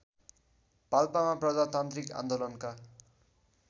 पाल्पामा प्रजातान्त्रिक आन्दोलनका